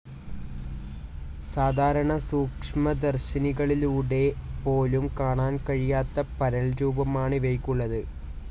സാധാരണ സൂക്ഷ്മദർശിനികളിലൂടെ പോലും കാണാൻ കഴിയാത്ത പരൽരൂപമാണ് ഇവയ്ക്കുള്ളത്.